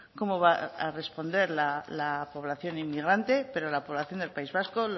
cómo va a responder la población inmigrante pero la población del país vasco